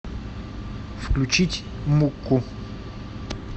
включить мукку